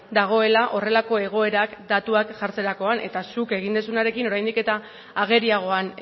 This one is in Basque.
dagoela horrelako egoerak datuak jartzerakoan eta zuk egin duzunarekin oraindik eta ageriagoan